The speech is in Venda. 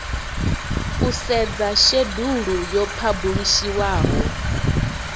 u sedza shedulu yo phabulishiwaho